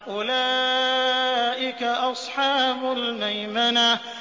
أُولَٰئِكَ أَصْحَابُ الْمَيْمَنَةِ